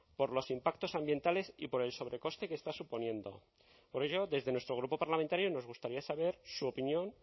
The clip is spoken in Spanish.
por los impactos ambientales y por el sobrecoste que está suponiendo por ello desde nuestro grupo parlamentario nos gustaría saber su opinión